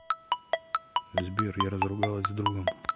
сбер я разругалась с другом